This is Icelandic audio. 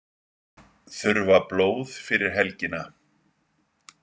Þurfa blóð fyrir helgina